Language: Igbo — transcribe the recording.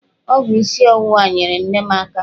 Ọgwụ isi ọwụwa nyeere nne m aka.